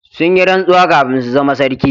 Sun yi rantsuwa kafin su zama sarki